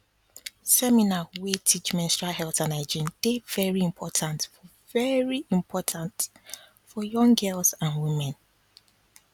seminar wey teach menstrual health and hygiene dey very important for very important for young girls and women